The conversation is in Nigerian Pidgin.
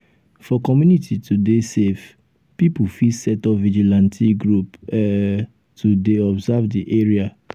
for community to dey safe pipo fit set up vigilante group um to dey observe di area